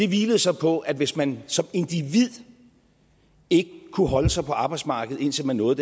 hvilede så på at hvis man som individ ikke kunne holde sig på arbejdsmarkedet indtil man nåede